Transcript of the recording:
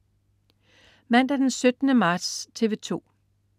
Mandag den 17. marts - TV 2: